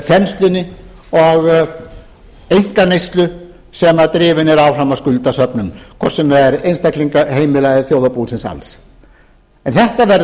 þenslunni og einkaneyslu sem drifin er áfram af skuldasöfnun hvort sem það er einstaklinga heimila eða þjóðarbúsins alls en þetta verður